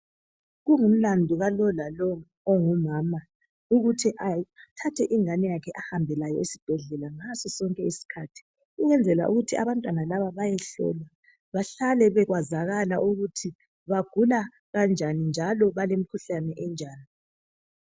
Kungumlando wa lo lalo ongumama ukuthi athathe ingane yakhe ahambe layo esibhedlela ngaso sonke isikhathi ukwenzela ukuthi abantwana laba bayehlolwa bahlale beyazakala ukuthi bagula kanjani njalo balemkhuhlane enjani.